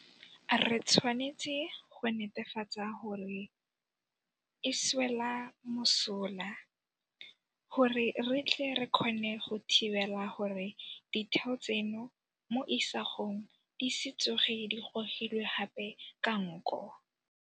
Re tshwanetse go netefatsa gore re e swela mosola gore re tle re kgone go thibela gore ditheo tseno mo isagong di se tsoge di gogilwe gape ka nko.